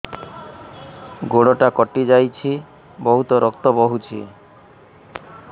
ଗୋଡ଼ଟା କଟି ଯାଇଛି ବହୁତ ରକ୍ତ ବହୁଛି